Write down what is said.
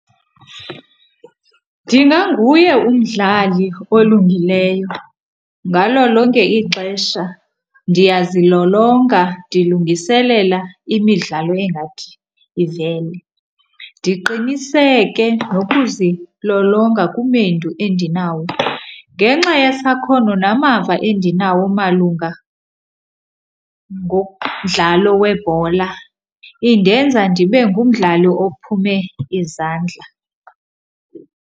Ndinganguye umdlali olungileyo, ngalo lonke ixesha ndiyazilolonga ndilungiselela imidlalo engathi ivele. Ndiqiniseke nokuzilolonga kumendu endinawo, ngenxa yesakhono namava endinawo malunga ngomdlalo webhola indenza ndibe ngumdlali ophume izandla.